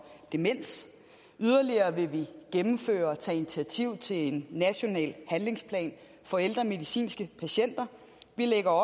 demens yderligere vil vi gennemføre og tage initiativ til en national handlingsplan for ældre medicinske patienter vi lægger